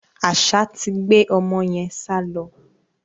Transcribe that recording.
Àṣá ti gbé ọmọ yẹn sálọ.